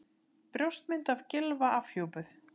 Brjóstmynd af Gylfa afhjúpuð